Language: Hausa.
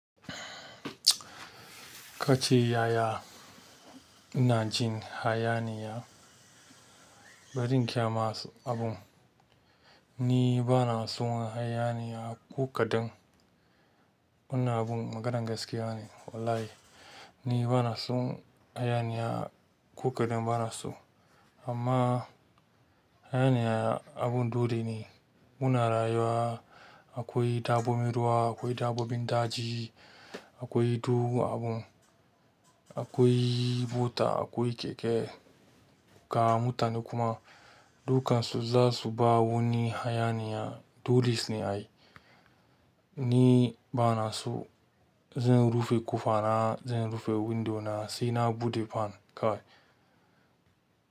Kace ya, ya ina jin hayaniya? Bari in gaya ma abun. Ni bana son hayaniya ko kaɗan. Wannan abun maganan gaskiya ne wallahi. Ni bana son hayaniya kukadan bana so. Amma hayaniya abun dole ne. Muna rayuwa akwai dabbobin ruwa, akwai dabbobin daji, akwai du abun, akwai bota, akwai keke. Ka mutane kuma dukansu za su ba woni hayaniya. Doles ne ai. Ni bana so. Zan rufe ƙofa na, zan rufe window na sai na buɗe fan kawai.